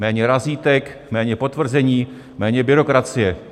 Méně razítek, méně potvrzení, méně byrokracie.